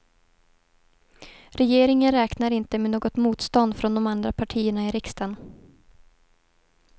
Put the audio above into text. Regeringen räknar inte med något motstånd från de andra partierna i riksdagen.